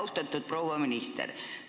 Austatud proua minister!